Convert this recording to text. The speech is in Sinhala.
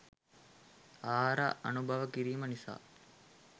ආහාර අනුභව කිරීම නිසා